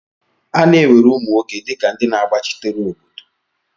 A na-ewere ụmụ nwoke dịka ndị na-agbachitere obodo.